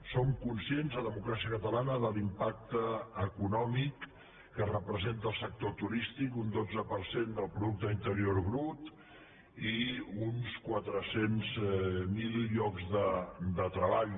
som conscients a democràcia catalana de l’impacte econòmic que representa el sector turístic un dotze per cent del producte interior brut i uns quatre cents miler llocs de treball